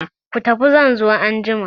Ku tafi zan zo anjima!